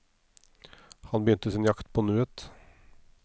Han begynte sin jakt på nuet.